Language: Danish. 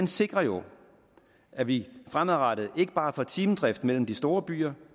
sikrer jo at vi fremadrettet ikke bare får timedrift mellem de store byer